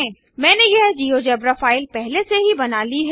मैंने यह GeoGebra file पहले से ही बना ली है